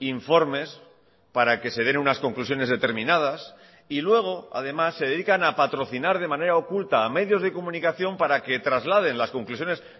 informes para que se den unas conclusiones determinadas y luego además se dedican a patrocinar de manera oculta a medios de comunicación para que trasladen las conclusiones